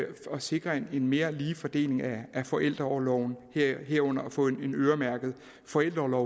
sikre en mere ligelig fordeling af forældreorloven herunder at få en øremærket forældreorlov